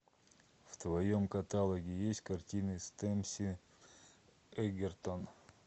в твоем каталоге есть картины с тэмсин эгертон